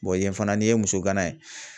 yen fana ni ye muso gana yen.